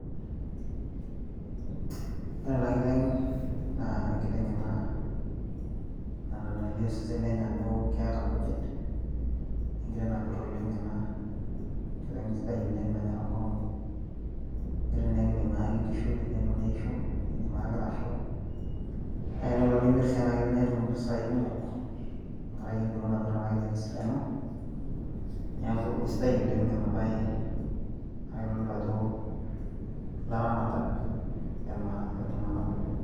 ore ena kiteng naa enkiteng ena nalio osesen lenye ajo keeta nkujit. enkiteng napir oleng ena. enkiteng sidai nanyor enkong'u. enkiteng naa ekidim ayaki nkishu teneisho. idim ayaki ilasho, naa tenelo nimir sii ena kiteng naa itum impisai kumok, tenkaraki empiron napir ena kiteng tesidano, neeku isidai oleng ena bae naa kitodolu ajo ilaramatak iltunganak oleng.